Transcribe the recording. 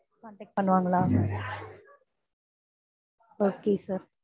contact பண்ணுவாங்களா okay sir